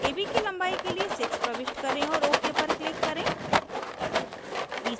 ab की लंबाई के लिए 6 प्रविष्ट करें और ok पर click करें